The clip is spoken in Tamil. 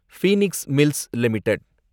Phoenix Mills limited